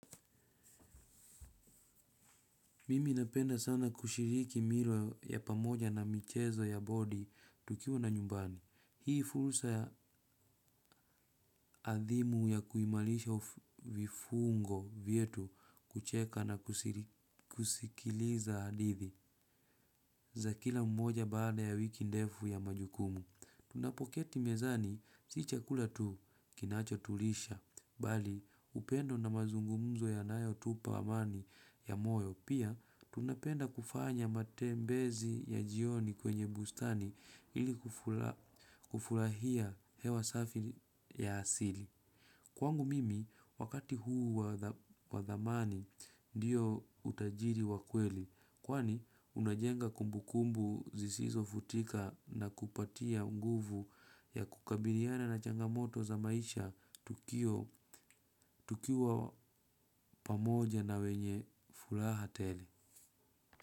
Mimi napenda sana kushiriki milo ya pamoja na michezo ya body tukiwa na nyumbani. Hii fursa ya adhimu ya kuimarisha vifungo vyetu kucheka na kusikiliza hadithi za kila mmoja baada ya wiki ndefu ya majukumu. Tunapoketi mezani, si chakula tu kinachotulisha, bali upendo na mazungumzo yanayo tupa amani ya moyo. Pia, tunapenda kufanya matembezi ya jioni kwenye bustani ili kufurahia hewa safi ya asili. Kwangu mimi wakati huu wa dhamani ndiyo utajiri wa kweli kwani unajenga kumbukumbu zisizofutika na kupatia nguvu ya kukabiliana na changamoto za maisha tukiwa pamoja na wenye furaha tele.